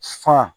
Fa